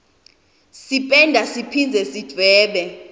sipenda siphindze sidvwebe